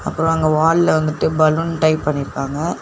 அப்ரோ அங்க வால்ல வந்துட்டு பலூன் டை பண்ணிருக்காங்க.